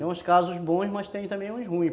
Tem uns casos bons, mas tem também uns ruins.